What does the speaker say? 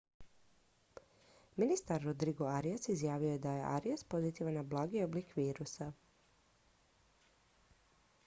ministar rodrigo arias izjavio je da je arias pozitivan na blagi oblik virusa